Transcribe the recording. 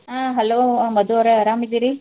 ಆ Hello ಮಧು ಅವ್ರ ಅರಾಮಿದಿರಿ?